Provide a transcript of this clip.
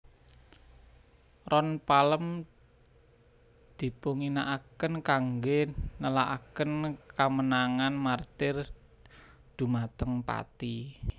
Ron palem dipunginakaken kanggé nélakaken kamenangan martir dhumateng pati